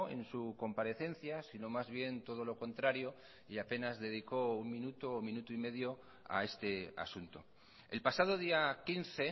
en su comparecencia sino más bien todo lo contrario y apenas dedicó un minuto o minuto y medio a este asunto el pasado día quince